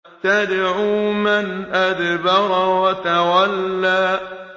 تَدْعُو مَنْ أَدْبَرَ وَتَوَلَّىٰ